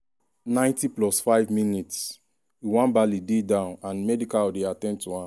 90+5mins- nwabali dey down and medical dey at ten d to am.